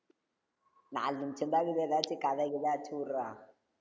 நாலு நிமிஷந்தான் இருக்குது ஏதாச்சும், கதை கிதை அடிச்சு விடுறா.